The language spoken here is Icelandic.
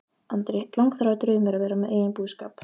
Andri: Langþráður draumur að vera með eigin búskap?